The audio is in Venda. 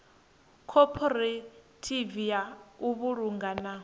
khophorethivi ya u vhulunga na